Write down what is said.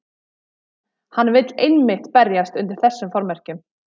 Hann vill einmitt berjast undir þessum formerkjum.